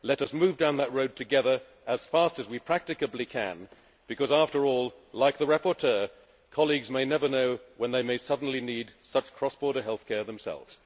Let us move down that road together as fast as we practicably can, because, after all, like the rapporteur, colleagues might never know when they may suddenly need such cross border health care themselves.